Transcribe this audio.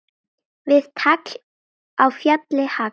Við tagl á fjalli hagl.